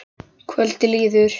Kvöldið líður.